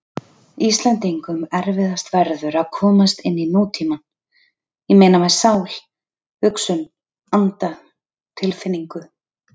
Íslendingum erfiðast verður að komast inní nútímann- ég meina með sál, hugsun, anda, tilfinningu.